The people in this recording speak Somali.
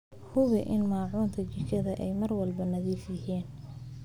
Hubi in maacuunta jikada ay mar walba nadiif yihiin.